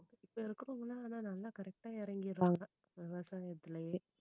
இப்போ இருக்கறவங்க எல்லாம் ஆனா நல்லா correct ஆ இறங்கிடுறாங்க. விவசாயத்திலேயே